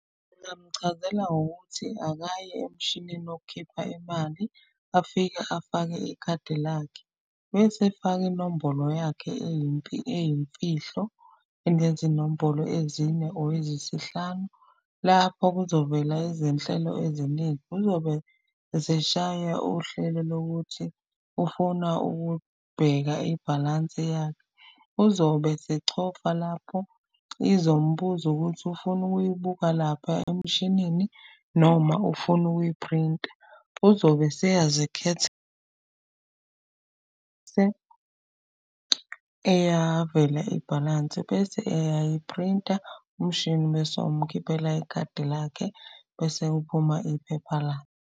Ngamchazela ngokuthi akaye emshinini wokhipha imali afike afake ikhadi lakhe. Bese efaka inombolo yakhe eyimfihlo enezinombolo ezine or eziyisihlanu. Lapho kuzovela izinhlelo eziningi, uzobe eseshaya uhlelo lokuthi ufuna ukubheka ibhalansi . Uzobe esechofa lapho, izombuza ukuthi ufuna ukuyibuka lapha emshinini noma ufuna ukuyiphrinta. Uzobe eyavela ibhalansi bese eyayiphrinta. Umshini bese umkhiphela ikhadi lakhe, bese kuphuma iphepha la.